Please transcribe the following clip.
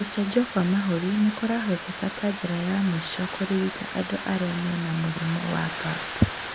Gũcenjio kwa mahũri nĩkũrahũthĩka ta njĩra ya mũico kũrigita andũ arĩa mena mũrimũ wa PAP